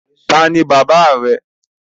Ta ni baba rẹ?